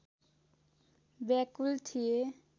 व्याकुल थिए